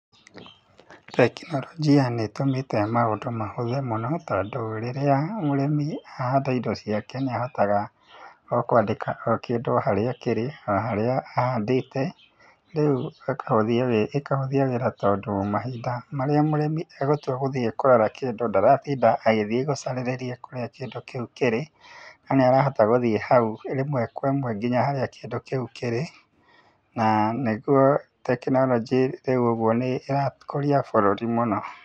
Tekinoronjia nĩ ĩtũmĩte maũndũ mahũthe mũno tondũ rĩrĩa mũrĩmi ahanda indo ciake nĩ ahotaga o kwandĩka o kĩndũ harĩa kĩrĩ, na harĩa ahandĩte, rĩu ĩkahũthia wĩra tondũ mahinda marĩa mũrĩmi egũtua gũthiĩ kũrora kĩndũ ndaratinda agĩthiĩ gũcarĩrĩria kũrĩa kĩndũ kĩu kĩrĩ, no nĩ arahota gũthiĩ kou rĩmwe kwa ĩmwe nginya harĩa kĩndũ kĩu kĩrĩ, na nĩguo tekinoronjĩ rĩu ũguo nĩ ĩrakũria bũrũri mũno.